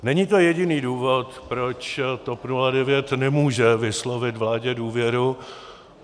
Není to jediný důvod, proč TOP 09 nemůže vyslovit vládě důvěru.